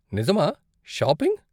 నిజమా? షాపింగ్?